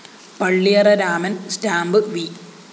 Palliyara Raman‍ stamp V